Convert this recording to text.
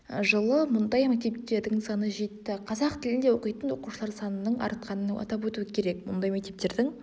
жылы бұндай мектептердің саны жетті қазақ тілінде оқитын оқушылар санының артқанын атап өту керек бұндай мектептердің